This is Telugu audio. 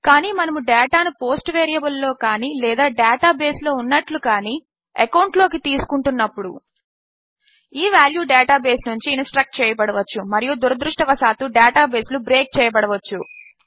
కానీ మనము డేటా ను పోస్ట్ వేరియబుల్ లలో కానీ లేదా డేటా బేస్ లో ఉన్నట్లుగా కానీఎకౌంట్ లోకి తీసుకుంటున్నప్పుడు ఈ వాల్యూ డేటా బేస్ నుంచి ఇన్స్ట్రక్ట్ చేయబడవచ్చు మరియు దురదృష్టవశాత్తు డేటా బేస్ లు బ్రేక్ చేయబడవచ్చు